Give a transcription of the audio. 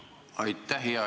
Aitäh!